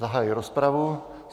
Zahajuji rozpravu.